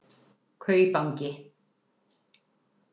Kaupangi